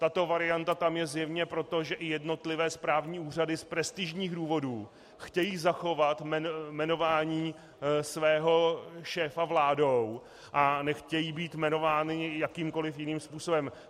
Tato varianta je tam zjevně proto, že i jednotlivé správní úřady z prestižních důvodů chtějí zachovat jmenování svého šéfa vládou a nechtějí být jmenovány jakýmkoliv jiným způsobem.